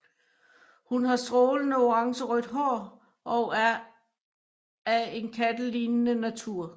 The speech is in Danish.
Hun har strålende orangerødt hår og er af en kattelignende natur